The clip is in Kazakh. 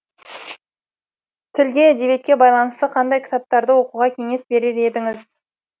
тілге әдебиетке байланысты қандай кітаптарды оқуға кеңес берер едіңіз